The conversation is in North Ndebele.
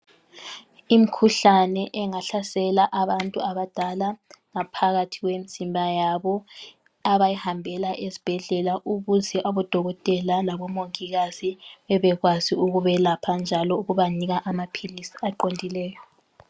Imkhuhlane engahlasela abantu abadala ngaphakathi kwemzimba yabo abayihambela ezibhedlela ukuze abodokotela labomongikazi bebekwazi ukubelapha njalo ukubanika amaphilisi aqondileyo.